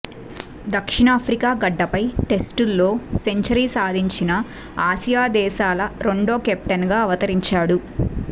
దక్షిణాఫ్రికా గడ్డపై టెస్టుల్లో సెంచరీ సాధించిన ఆసియా దేశాల రెండో కెప్టెన్ గా అవతరించాడు